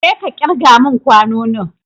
Jeka kirga mun kwanonin!